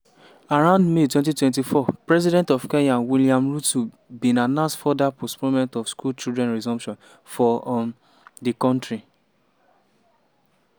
around may 2024 president of kenya williams ruto bin announce further postponement of school children resumption for um di kontri.